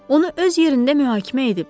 Onu öz yerində mühakimə ediblər.